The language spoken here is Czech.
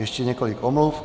Ještě několik omluv.